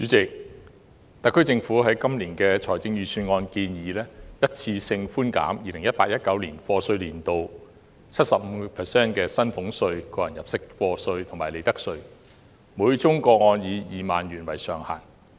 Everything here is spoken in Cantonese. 主席，特區政府在今年的財政預算案建議一次性寬減 2018-2019 課稅年度 75% 的薪俸稅、個人入息課稅及利得稅，每宗個案以2萬元為上限。